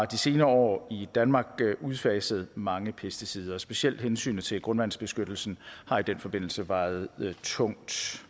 de senere år i danmark udfaset mange pesticider og specielt hensynet til grundvandsbeskyttelsen har i den forbindelse vejet tungt